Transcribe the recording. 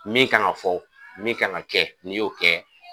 Min kan ka fɔ min kan ka kɛ n'i y'o kɛ